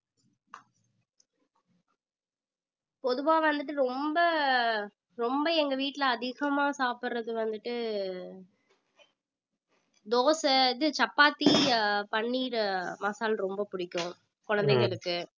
பொதுவா வந்துட்டு ரொம்ப ரொம்ப எங்க வீட்டிலே அதிகமா சாப்பிடுறது வந்துட்டு தோசை இது சப்பாத்தி ஆஹ் பன்னீர் மசால் ரொம்ப பிடிக்கும் குழந்தைகளுக்கு